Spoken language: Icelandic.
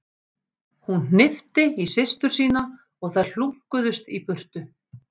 Hún hnippti í systur sína og þær hlunkuðust í burtu.